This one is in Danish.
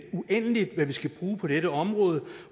uendeligt hvad vi skal bruge på dette område